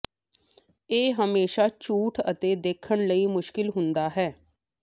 ਇਹ ਹਮੇਸ਼ਾ ਝੂਠ ਅਤੇ ਦੇਖਣ ਲਈ ਮੁਸ਼ਕਿਲ ਹੁੰਦਾ ਹੈ